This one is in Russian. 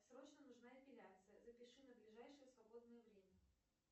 срочно нужна эпиляция запиши на ближайшее свободное время